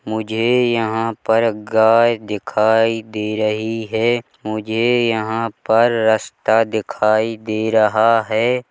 मुझे यहां पर गाय दिखाई दे रही है मुझे यहां पर रस्ता दिखाई दे रहा है।